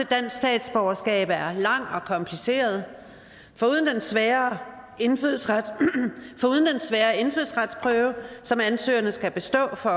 dansk statsborgerskab er lang og kompliceret foruden den svære indfødsretsprøve svære indfødsretsprøve som ansøgerne skal bestå for